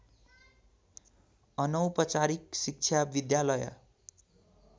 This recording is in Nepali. अनौपचारिक शिक्षा विद्यालय